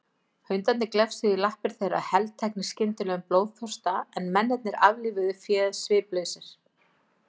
Hundarnir glefsuðu í lappir þeirra, helteknir skyndilegum blóðþorsta, en mennirnir aflífuðu féð sviplausir.